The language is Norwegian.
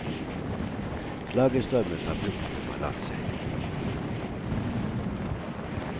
Klagestormen fra publikum har lagt seg.